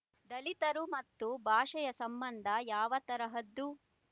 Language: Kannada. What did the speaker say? ದಲಿತರು ಮತ್ತು ಭಾಷೆಯ ಸಂಬಂಧ ಯಾವ ತರಹದ್ದು